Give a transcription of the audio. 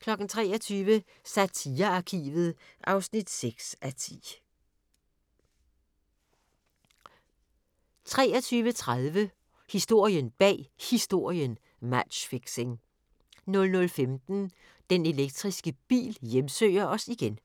(2:5)* 23:00: Satirearkivet (6:10) 23:30: Historien bag Historien: Matchfixing 00:15: Den elektriske bil hjemsøger os igen